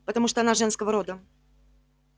потому что она женского рода